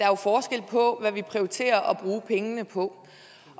er forskel på hvad vi prioriterer at bruge pengene på